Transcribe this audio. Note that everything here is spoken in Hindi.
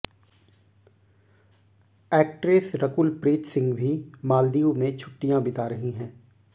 एक्ट्रेस रकुल प्रीत सिंह भी मालदीव में छुट्टियां बिता रही हैं